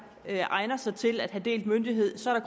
egner sig til at have delt myndighed så er